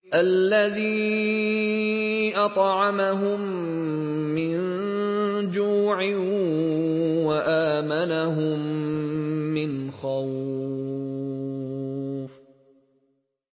الَّذِي أَطْعَمَهُم مِّن جُوعٍ وَآمَنَهُم مِّنْ خَوْفٍ